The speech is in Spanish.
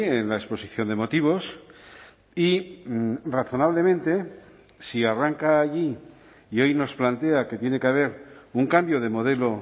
en la exposición de motivos y razonablemente si arranca allí y hoy nos plantea que tiene que haber un cambio de modelo